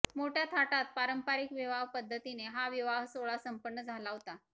मोठ्या थाटात पारंपारीक विवाह पद्धतीने हा विवाहसोहळा संपन्न झाला होता